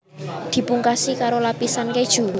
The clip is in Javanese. Dipungkasi karoo lapisan keju